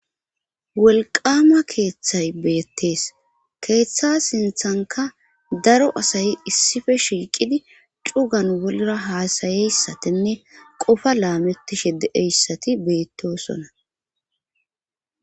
Wolqaama keeththay beetees. Keeththa sinththankka daro asay issippe shiiqidi cugan wollura hasayssitinne qoffa laametishe de'iyassati beetosona.